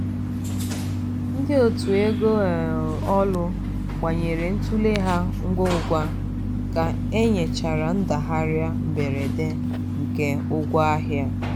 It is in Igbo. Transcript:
ndị otu ego ụlọ um ọrụ gbanwere ntule ha ngwa ugwa ka e nwechara ndagharịa mberede nke ngwa ahịa.